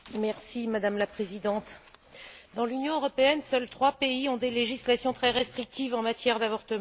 Madame la Présidente, dans l'Union européenne, seuls trois pays ont des législations très restrictives en matière d'avortement.